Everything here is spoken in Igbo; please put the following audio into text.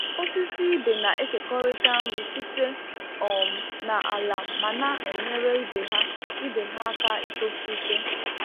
Osisi ibe na-ekekọrịta nri site um na ala ma na-enyere ibe ha ibe ha aka itosi ike.